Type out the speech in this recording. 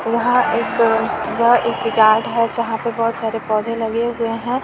वहाँ एक--- वह एक यार्ड है जहा पे बहुत सारे पौधे लगे हुए हैं।